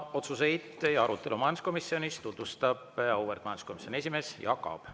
Otsuseid ja arutelu majanduskomisjonis tutvustab auväärt majanduskomisjoni esimees Jaak Aab.